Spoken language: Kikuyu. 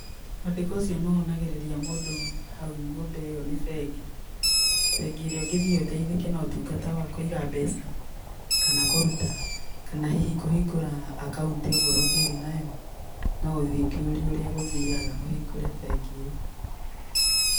Mwandĩko ũcio nĩ wonagĩrĩria mũndũ hau nyũmba ĩyo nĩ bengi. Bengi ĩrĩa ũngĩthiĩ ũteithĩke na ũtungata wa kũiga mbeca kana kũruta, kana hihi kũhingũra akaũnti ongorwo ndũrĩ nayo, no ũthiĩ ũkĩũrie ũrĩa gũthiaga, ũhingũre bengi ĩyo.